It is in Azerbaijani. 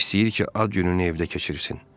İstəyir ki, ad gününü evdə keçirsin.